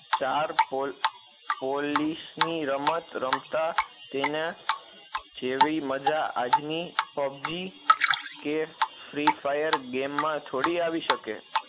ચાર પો પોલીસ ની રમત રમતા તેના જેવી મજા આજ ની pubji કે free firegame માં થોડી આવી શકે